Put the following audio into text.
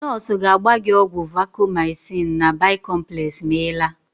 Nọọsụ ga-agba gị ọgwụ Vacomycin na Bi-complex ma Ị laa.